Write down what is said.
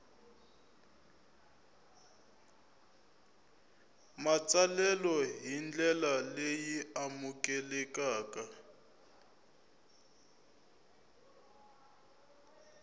matsalelo hi ndlela leyi amukelekaka